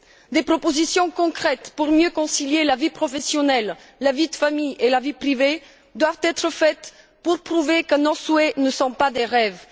Des propositions concrètes pour mieux concilier la vie professionnelle, la vie de famille et la vie privée doivent être faites pour prouver que nos souhaits ne sont pas des rêves